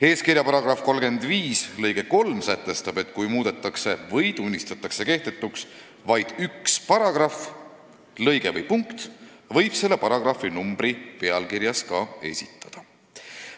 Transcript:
Eeskirja § 35 lõige 3 sätestab, et kui muudetakse või tunnistatakse kehtetuks vaid üks paragrahv, lõige või punkt, võib selle paragrahvi numbri pealkirjas ka esitada.